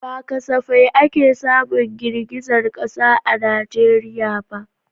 Ba kasafai ake samun girgizar kasa a Najeriya ba.